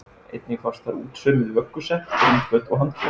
Einnig fást þar útsaumuð vöggusett, rúmföt og handklæði.